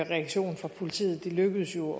reaktion fra politiet det lykkedes jo